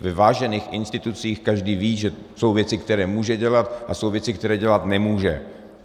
Ve vážených institucích každý ví, že jsou věci, které může dělat, a jsou věci, které dělat nemůže.